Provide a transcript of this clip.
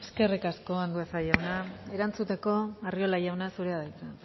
eskerrik asko andueza jauna erantzuteko arriola jauna zurea da hitza